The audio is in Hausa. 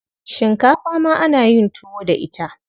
Shinkafa ma ana yin tuwo da ita.